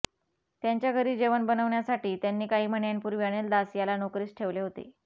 त्यांच्या घरी जेवण बनवण्यासाठी त्यांनी काही महिन्यांपूर्वी अनिल दास याला नोकरीस ठेवले होते